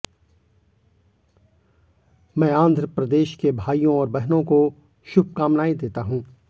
मैं आंध्र प्रदेश के भाइयों और बहनों को शुभकामनाएं देता हूं